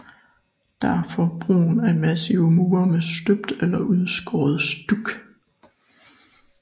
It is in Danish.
Derfor brugen af massive mure med støbt eller udskåret stuk